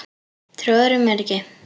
Trúirðu mér ekki?